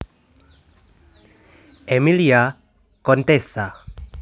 Emilia Contessa